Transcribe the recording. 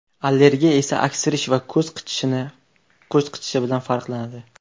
Allergiya esa aksirish va ko‘z qichishishi bilan farqlanadi.